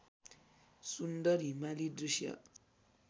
सुन्दर हिमाली दृश्य